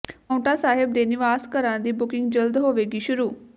ਪਾਉਂਟਾ ਸਾਹਿਬ ਦੇ ਨਿਵਾਸ ਘਰਾਂ ਦੀ ਬੁਕਿੰਗ ਜਲਦ ਹੋਵੇਗੀ ਸ਼ੁਰੂ